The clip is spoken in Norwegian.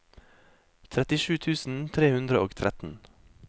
trettisju tusen tre hundre og tretten